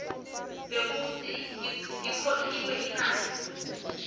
bekutsi ikhokhiwe imali